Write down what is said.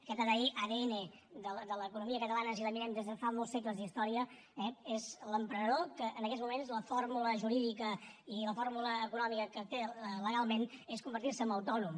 aquest adn de l’economia catalana si la mirem des de fa molts segles d’història eh és l’emprenedor que en aquests moments la fórmula jurídica i la fórmula econòmica que té legalment és convertir se en autònom